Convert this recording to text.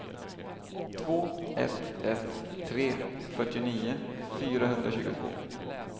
två ett ett tre fyrtionio fyrahundratjugotvå